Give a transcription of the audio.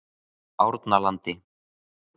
Ánalandi